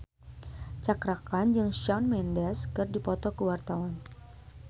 Cakra Khan jeung Shawn Mendes keur dipoto ku wartawan